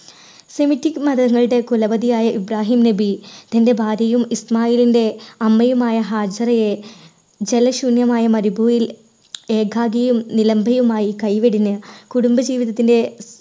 semetic മതങ്ങളുടെ കുലപതിയായ Ibrahim നബി തൻറെ ഭാര്യയും ഇസ്മായിലിന്റെ അമ്മയുമായ ഹാജിറയെ ജല ശൂന്യമായ മരുഭൂമി ഏകാകിയും നിലമ്പയുമായി കൈവെടിഞ്ഞ് കുടുംബ ജീവിതത്തിൻറെ